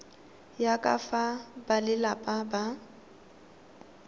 ya ka fa balelapa ba